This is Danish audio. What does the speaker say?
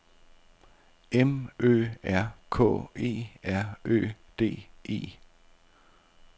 M Ø R K E R Ø D E